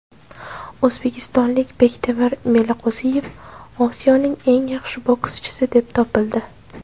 O‘zbekistonlik Bektemir Meliqo‘ziyev Osiyoning eng yaxshi bokschisi deb topildi.